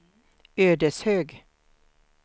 Ödeshög